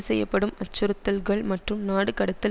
செய்யப்படும் அச்சுறுத்தல்கள் மற்றும் நாடு கடத்தல்